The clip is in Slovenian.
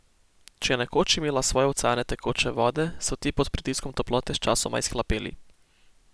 Če je nekoč imela svoje oceane tekoče vode, so ti pod pritiskom toplote sčasoma izhlapeli.